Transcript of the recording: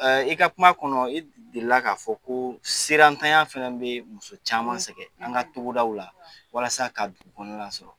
I ka kuma kɔnɔ, i delila k'a fɔ, ko siran tanya fana bɛ muso caman sɛgɛn, an ka togoda la walasa ka kɔnɔ sɔrɔ.